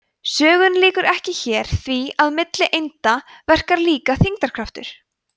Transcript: sögunni lýkur ekki hér því að milli einda verkar líka þyngdarkraftur